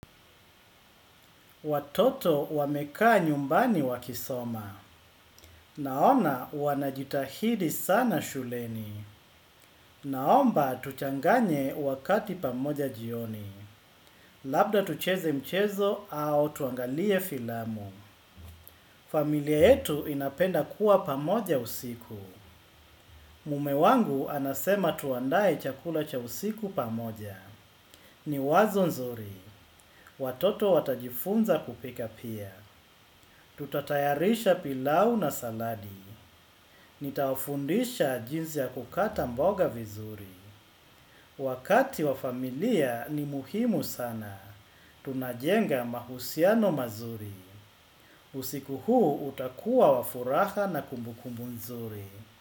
Watoto wamekaa nyumbani wakisoma. Naona wanajitahidi sana shuleni. Naomba tuchanganye wakati pamoja jioni. Labda tucheze mchezo au tuangalie filamu. Familia yetu inapenda kuwa pamoja usiku. Mume wangu anasema tuandaye chakula cha usiku pamoja. Ni wazo nzuri. Watoto watajifunza kupika pia. Tutatayarisha pilau na saladi. Nitawafundisha jinsi ya kukata mboga vizuri. Wakati wa familia ni muhimu sana. Tunajenga mahusiano mazuri. Usiku huu utakuwa wafuraha na kumbukumbu nzuri.